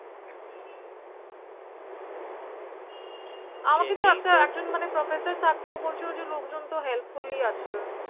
আমাকে তো একটা একজন professor থাকে ও বলছিল লোকজন তো Help Full আছে